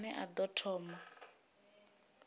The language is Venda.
a ne a ḓo thoma